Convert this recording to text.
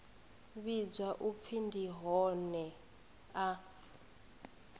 vhidzwa u pfi ndi hoea